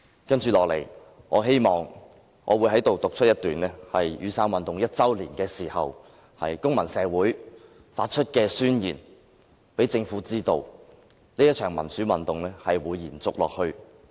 我接着在此讀出一段在雨傘運動1周年時公民社會發出的宣言，讓政府知道這一場民主運動會延續下去。